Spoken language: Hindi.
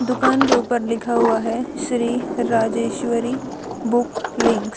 दुकान के ऊपर लिखा हुआ है श्री राजेश्वरी बुक लिंक्स --